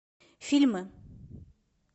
фильмы